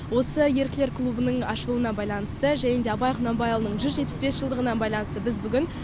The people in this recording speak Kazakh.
осы еріктілер клубының ашылуына байланысты және де абай құнанбайұлының жүз жетпіс бес жылдығына байланысты біз бүгін